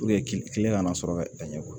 kile kana sɔrɔ a ɲɛ kɔrɔ